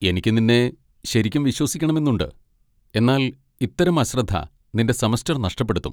എനിക്ക് നിന്നെ ശരിക്കും വിശ്വസിക്കണമെന്നുണ്ട്, എന്നാൽ ഇത്തരം അശ്രദ്ധ നിന്റെ സെമസ്റ്റർ നഷ്ടപ്പെടുത്തും.